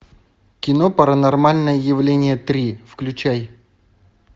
кино паранормальное явление три включай